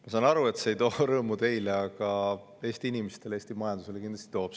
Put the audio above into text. Ma saan aru, et see ei too rõõmu teile, aga Eesti inimestele, Eesti majandusele kindlasti toob.